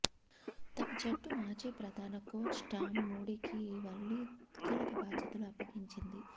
తమ జట్టు మాజీ ప్రధాన కోచ్ టామ్ మూడీకి మళ్లీ కీలక బాధ్యతలు అప్పగించింది